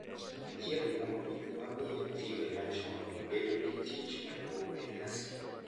Achiel kuom gik ma miyo timbe machon bedo gi tich maduong’ e nyasi,